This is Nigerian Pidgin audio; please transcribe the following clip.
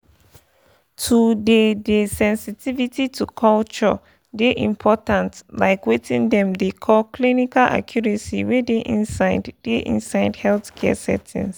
to dey dey sensitivity to culture dey important like weting dem dey call clinical accuracy wey dey inside dey inside healthcare settings.